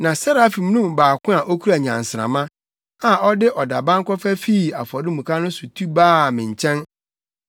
Na Serafim no mu baako a okura nnyansramma, a ɔde ɔdaban kɔfa fii afɔremuka no so tu baa me nkyɛn.